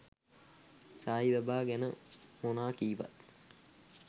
සායි බාබා ගැන මොනා කීවත්